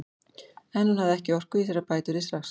En hún hafði ekki orku í sér til að bæta úr því strax.